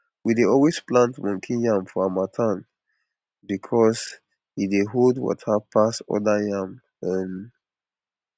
we dey always plant monkey yam for harmattan because e dey hold water pass other yam um